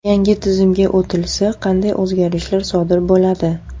Yangi tizimga o‘tilsa, qanday o‘zgarishlar sodir bo‘ladi?